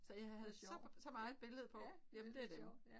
Så jeg havde så så meget billede på jamen det dem